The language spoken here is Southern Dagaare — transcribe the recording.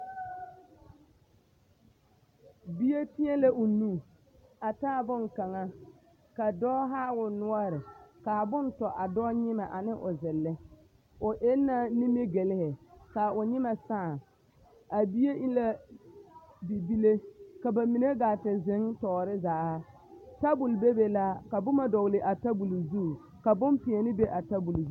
Bie pɛgrɛ o nu a taa boŋkaŋa ka dɔɔ haa o noɔre ka a bone tɔ a dɔɔ nyemɛ ane o zelle o eŋ la nimigelime ka o nyemɛ saa a bie e la bibile ka bamine gaa te zeŋ tɔɔre zaa tabol bebe la ka boma dɔgle a tabol zu ka bompeɛne be a tabol zu.